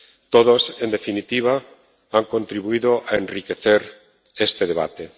Todos, en definitiva, han contribuido a enriquecer este debate.